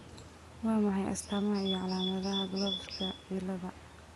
Waa maxay astamaha iyo calaamadaha CLOVES ciladha?